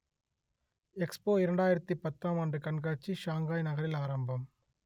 expo இரண்டாயிரத்து பத்தாம் ஆண்டு கண்காட்சி ஷங்காய் நகரில் ஆரம்பம்